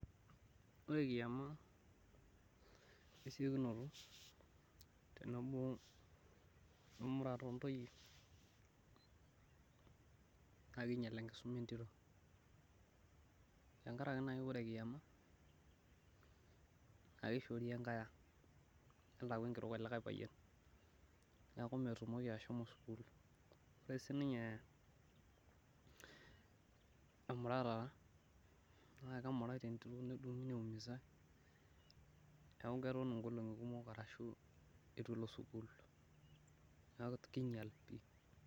Ore kiama esiokinoto tenebo wemurata ontoyie, naa kinyal enkisuma entito .Tenkaraki naaji ore kiama, naa kishoori enkae ang ,nelo aaku enkitok elikae payian. Neeku metumoki ashomo sukul. Ore siininye emutara naa kemurati entito naimusai ,neeku keton nkolongi kumok eitu elo sukul neeku keinyal.